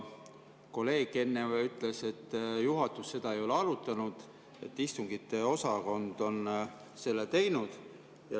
Kolleeg enne ütles, et juhatus seda ei ole arutanud, et istungiosakond on selle teinud.